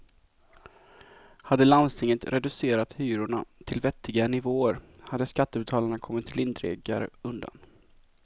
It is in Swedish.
Hade landstinget reducerat hyrorna till vettiga nivåer hade skattebetalarna kommit lindrigare undan.